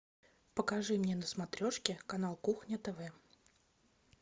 покажи мне на смотрешке канал кухня тв